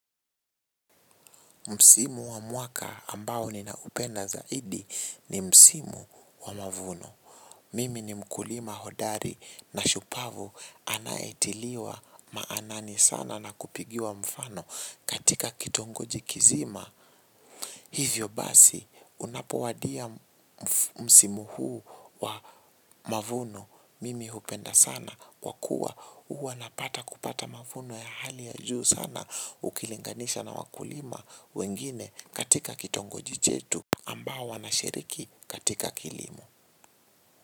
Msimu wa mwaka ambao ninaupenda zaidi ni msimu wa mavuno. Mimi ni mkulima hodari na shupavu anaetiliwa maanani sana na kupigiwa mfano katika kitongoji kizima. Hivyo basi unapowadia msimu huu wa mavuno mimi hupenda sana kwa kua huwa napata kupata mavuno ya hali ya juu sana ukilinganisha na wakulima wengine katika kitongoji chetu ambao wanashiriki katika kilimo.